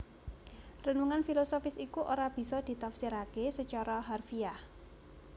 Renungan filosofis iku ora bisa ditafsiraké sacara harfiah